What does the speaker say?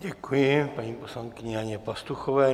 Děkuji paní poslankyni Janě Pastuchové.